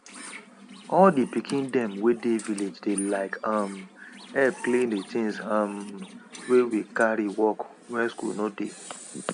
sun dey help wetin dem put um for ground for fowl to stay dry quick and reduce smell um inside animal house well well